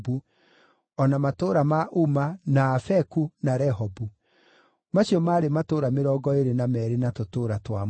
o na matũũra ma Uma, na Afeku, na Rehobu. Macio maarĩ matũũra mĩrongo ĩĩrĩ na meerĩ na tũtũũra twamo.